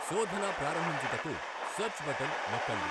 శోధన ప్రారంభించుటకు search button నొక్కండి.